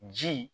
Ji